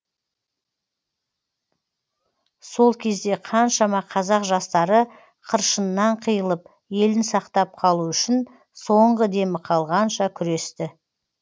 сол кезде қаншама қазақ жастары қыршынынан қиылып елін сақтап қалу үшін соңғы демі қалғанша күресті